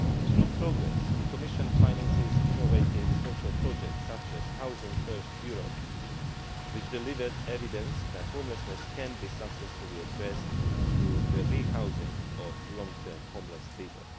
Through the PROGRESS programme, the Commission finances innovative social projects such as Housing First Europe, which has delivered evidence that homelessness can be successfully addressed through the re housing of long term homeless people.